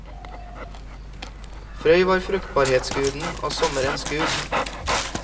Frøy var fruktbarhetsguden og sommerens gud.